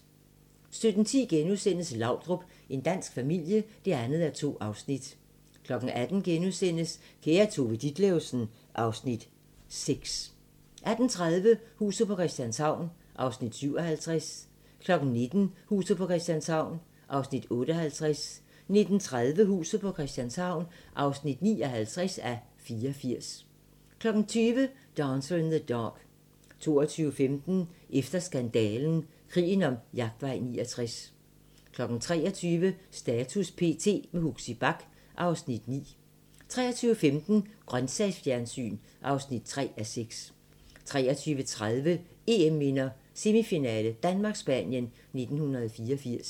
17:10: Laudrup – en dansk familie (2:2)* 18:00: Kære Tove Ditlevsen (Afs. 6)* 18:30: Huset på Christianshavn (57:84) 19:00: Huset på Christianshavn (58:84) 19:30: Huset på Christianshavn (59:84) 20:00: Dancer in the Dark 22:15: Efter skandalen - Krigen om Jagtvej 69 23:00: Status p.t. - med Huxi Bach (Afs. 9) 23:15: Grøntsagsfjernsyn (3:6) 23:30: EM-minder: Semifinale: Danmark-Spanien 1984